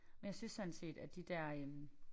Men jeg synes sådan set at de der øh